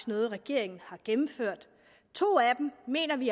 noget regeringen har gennemført to af dem mener vi